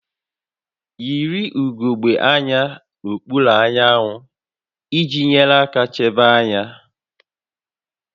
Yiri ugogbe anya n'okpuru anyanwụ iji nyere aka chebe anya